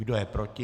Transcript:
Kdo je proti?